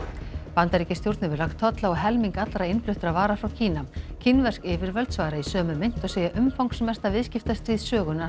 Bandaríkjastjórn hefur lagt tolla á helming allra innfluttra vara frá Kína kínversk yfirvöld svara í sömu mynt og segja umfangsmesta viðskiptastríð sögunnar